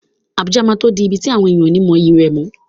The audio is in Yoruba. Abuja máa tó di ibi tí àwọn ènìyàn ó ní mọyì rẹ̀ mọ́.